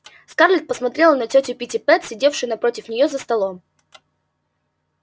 скарлетт посмотрела на тётю питтипэт сидевшую напротив неё за столом